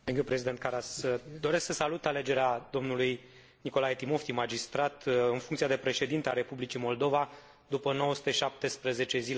Doresc să salut alegerea domnului Nicolae Timofti, magistrat, în funcția de președinte al Republicii Moldova, după 917 zile de interimat.